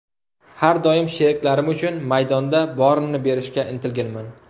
Har doim sheriklarim uchun maydonda borimni berishga intilganman.